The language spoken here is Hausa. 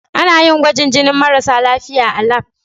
Ana yin gwajin jinin marasa lafiya a lab.